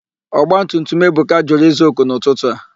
Ọgbatutum Ebuka jụrụ ịza òkù n'ụtụtụ a.